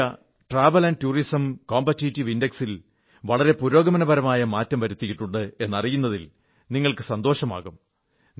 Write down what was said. travel tourism competitive index ലെ ഇന്ത്യയുടെ റാങ്കിങ്ങിൽ വളരെ പുരോഗമനപരമായ മാറ്റം വരുത്തിയിട്ടുണ്ട് എന്നറിയുന്നതിൽ നിങ്ങൾക്ക് സന്തോഷമാകും